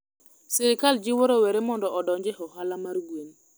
serikal jiwo rowere mondo odonje ohala mar gwen